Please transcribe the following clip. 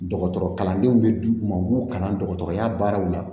Dɔgɔtɔrɔ kalandenw bɛ d'u ma u b'u kalan dɔgɔtɔrɔya baaraw la